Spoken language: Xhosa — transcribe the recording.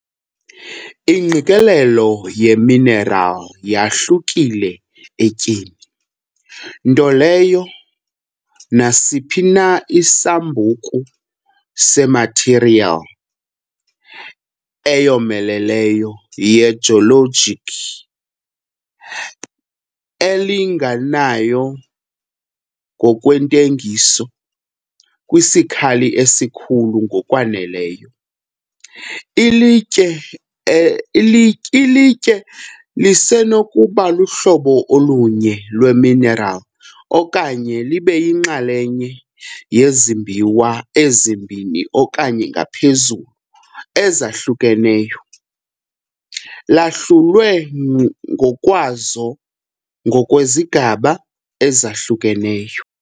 Ingqikelelo yeminerali yahlukile etyeni, nto leyo nasiphi na isambuku semathiriyeli eyomeleleyo yejologic elinganayo ngokwentelekiso kwisikali esikhulu ngokwaneleyo. Ilitye ilityi ilitye lisenokuba luhlobo olunye lweminerali okanye libe yinxalenye yezimbiwa ezimbini okanye ngaphezulu ezahlukeneyo, lahlulwe ngokwazo ngokwezigaba ezahlukeneyo.